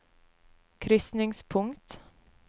krysningspunkt